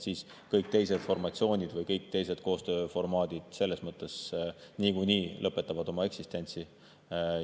Siis kõik teised formatsioonid või kõik teised koostööformaadid selles mõttes niikuinii lõpetavad oma eksistentsi